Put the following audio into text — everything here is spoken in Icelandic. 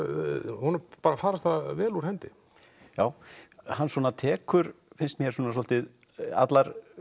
honum bara farast það vel úr hendi já hann svona tekur finnst mér svolítið allar